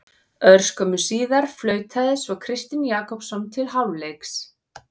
Örskömmu síðar flautaði svo Kristinn Jakobsson til hálfleiks.